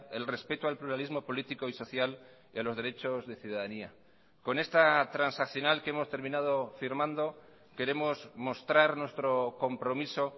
el respeto al pluralismo político y social y a los derechos de ciudadanía con esta transaccional que hemos terminado firmando queremos mostrar nuestro compromiso